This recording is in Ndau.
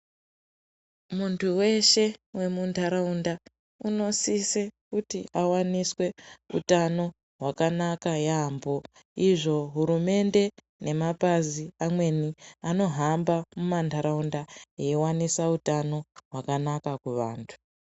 Muntu weshe wemuntaraunda unosise kuti awaniswe utano hwakanaka yaamho. Isvo hurumende nemapazi amweni anohamba mumantaraunda eiwanisa utano hwakanaka muvantu.